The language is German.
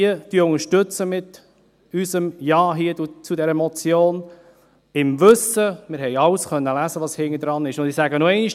Diese unterstützen wir mit unserem Ja zu dieser Motion, im Wissen – wir konnten alles lesen, was dahinter ist –, ich sage es noch einmal: